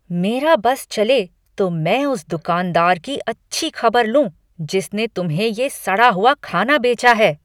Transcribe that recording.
मेरा बस चले तो मैं उस दुकानदार की अच्छी खबर लूँ जिसने तुम्हें ये सड़ा हुआ खाना बेचा है।